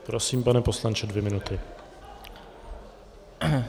Prosím, pane poslanče, dvě minuty.